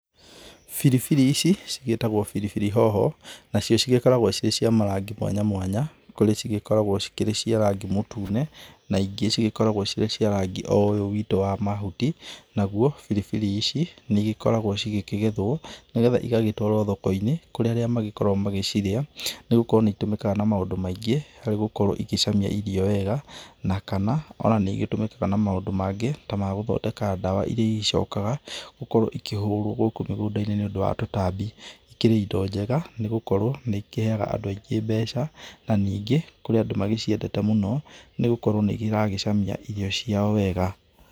Biribiri ici cigĩtagwobiribiri hoho, nacio cigĩkoragwo ici cia marangi mwanya mwanya, kũrĩ cikoragwo cikĩrĩ cia rangĩ mũtune na ĩngĩ cigĩkoragwo cirĩ cia rangĩ o ũyũ witũ wa mahuti. Naguo biribiri ici nĩ ĩgĩkoragwo cigĩkĩgethwo nĩgetha ĩgagĩtwarwo thoko-inĩ kũrĩ arĩa magĩkoragwo magĩcirĩa nĩgũkorwo nĩ itũmĩkaga na maũndũ maingĩ, harĩ gũkorwo ĩgĩcamia irio wega na kana ona nĩ ĩgĩtũmĩkaga na maũndũ mangĩ ta ma gũthondeka ndawa ĩria ĩgĩcokaga gũkorwo ĩkĩhũrwo gũkũ mĩgũnda-inĩ nĩ ũndũ wa tũtambi. Ĩkĩrĩ ĩndo njega nĩgũkorwo nĩ ikĩheyaga andũ aingĩ mbeca na ningĩ kũrĩ andũ magĩciendete mũno nĩgũkorwo nĩ iragĩcamia irio ciao wega.